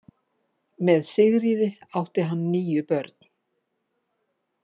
Með Sigríði átti hann níu börn.